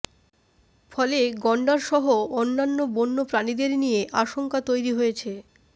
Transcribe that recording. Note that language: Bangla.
ফলে গণ্ডার সহ অন্যান্য বন্যপ্রাণীদের নিয়ে আশঙ্কা তৈরি হয়েছে